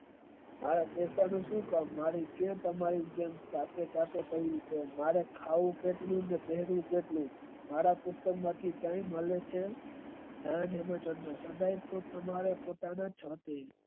મારે ક્યાં તમારી સાથે મારે ખાવું કેટલું ને તેડવું કેટલું મારા માંથી કય મળે છે.